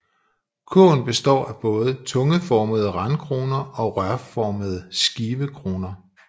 Kurven består af både tungeformede randkroner og rørformede skivekroner